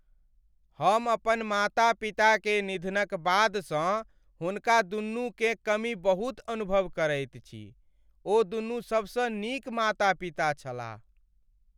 हम अपन माता पिता के निधनक बादसँ हुनकादुनूकेँ कमी बहुत अनुभव करैत छी। ओदुनू सबसँ नीक माता पिता छलाह।